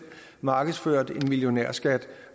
markedsført en millionærskat